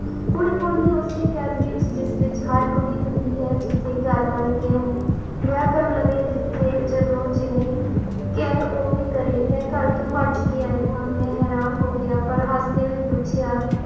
ਕੁੜੀ ਬੋਲੀ ਉਸੇ ਕੈਦ ਵਿਚ ਜਿਸ ਵਿਚ ਹਰ ਕੁੜੀ ਹੁੰੰਦੀ ਹੈ ਜਿਥੇ ਘਰ ਵਾਲੇ ਕਹਿਣ ਵਿਆਹ ਕਰ ਲਵੇ ਜਿਥੇ ਜਦੋਂ ਜਿਵੇਂ ਕਹਿਣ ਉਵੇਂ ਕਰੇ ਮੈਂ ਘਰ ਤੋਂ ਭੱਜ ਕੇ ਆਈ ਆਂ ਮੈਂ ਹੈਰਾਨ ਹੋ ਗਿਆ ਪਰ ਹੱਸਦੇ ਹੋਏ ਪੁੱਛਿਆ